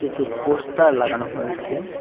কিছু পোস্টার লাগানো হয়েছে।